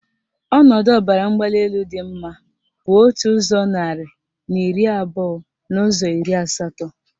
Ọnọdụ ọbaramgbalịelu dị mma bụ otu ụzọ narị na iri abụọ n' ụzọ iri asatọ.